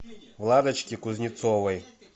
владочке кузнецовой